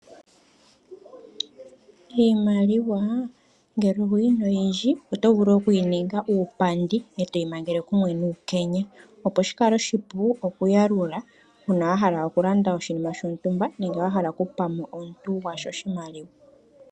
Iimaliwa ngele owuyi na oyindji oto vulu okuyi ninga uupandi etoyi mangle kumwe nuukenya. Ohashi kala oshipu okuyalula ngele wahala okulanda oshinima shontumba, nenge waha oku pa omuntu oshimaliwa.